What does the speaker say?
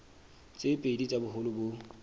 tse pedi tsa boholo bo